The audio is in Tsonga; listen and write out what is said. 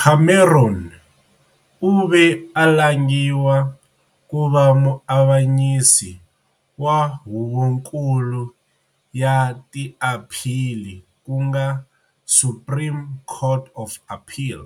Cameron u ve a langiwa ku va muavanyisi wa Huvonkulu ya tiaphili ku nga Supreme Court of Appeal,